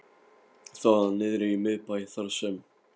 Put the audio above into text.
Það var niðri í miðbæ, þar sem